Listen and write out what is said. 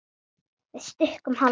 Við stukkum hálfa leið.